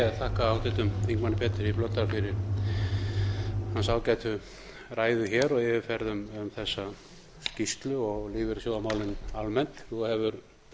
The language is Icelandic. ég þakka háttvirtum þingmanni pétri blöndal fyrir hans ágætu ræðu og yfirferð um þessa skýrslu og lífeyrissjóðamálin almennt nú